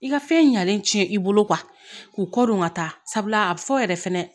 I ka fɛn ɲalen tiɲɛ i bolo k'u kɔ don ka taa sabula a bi fɔ yɛrɛ fɛnɛ